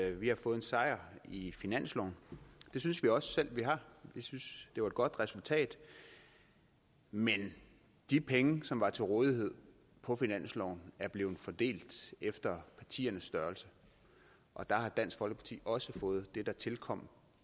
at vi har fået en sejr i finansloven det synes vi også selv vi har vi synes det var et godt resultat men de penge som var til rådighed på finansloven er blevet fordelt efter partiernes størrelse og der har dansk folkeparti også fået det der tilkom